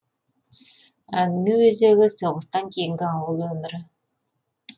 әңгіме өзегі соғыстан кейінгі ауыл өмірі